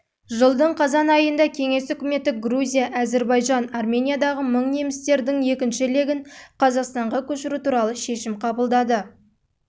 жылдың қазан айында кеңес үкіметі грузия әзірбайжан армениядағы мың немістердің екінші легін қазақстанға көшіру туралы шешім қабылданды